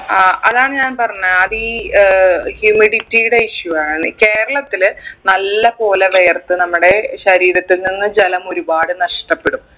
അഹ് അതാണ് ഞാൻ പറഞ്ഞത് അത് ഈ ഏർ humidity ടെ issue ആണ് കേരളത്തിൽ നല്ലപ്പോലെ വിയർത്ത് നമ്മടെ ശരീരത്തിൽ നിന്ന് ജലം ഒരുപാട് നഷ്ടപ്പെടും